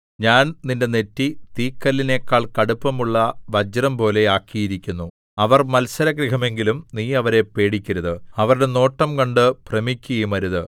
ഞാൻ നിന്റെ നെറ്റി തീക്കല്ലിനെക്കാൾ കടുപ്പമുള്ള വജ്രംപോലെ ആക്കിയിരിക്കുന്നു അവർ മത്സരഗൃഹമെങ്കിലും നീ അവരെ പേടിക്കരുത് അവരുടെ നോട്ടം കണ്ട് ഭ്രമിക്കുകയുമരുത്